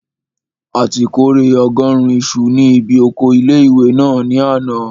A ti kórè ọgọ́rùn isu ní bi oko ilé-ìwé náà ní àná